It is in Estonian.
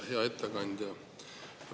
Hea ettekandja!